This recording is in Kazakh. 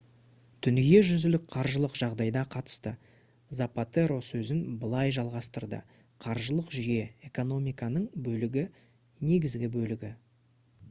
дүниежүзілік қаржылық жағдайға қатысты запатеро сөзін былай жалғастырды: «қаржылық жүйе — экономиканың бөлігі негізгі бөлігі